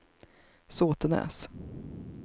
Såtenäs